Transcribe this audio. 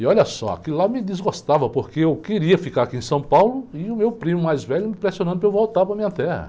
E olha só, aquilo lá me desgostava, porque eu queria ficar aqui em São Paulo e o meu primo mais velho me pressionando para eu voltar para a minha terra.